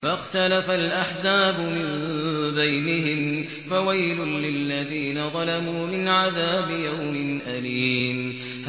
فَاخْتَلَفَ الْأَحْزَابُ مِن بَيْنِهِمْ ۖ فَوَيْلٌ لِّلَّذِينَ ظَلَمُوا مِنْ عَذَابِ يَوْمٍ أَلِيمٍ